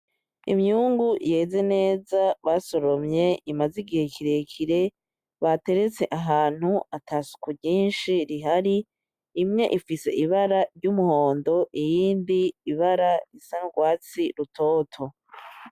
Imyungu yeze neza basoromye imaze igihe kirekire bateretse ahantu atasuku nyinshi rihari imwe ifise ibara ry'umuhondo iyindi ibara isa nkurwatsi rutoto.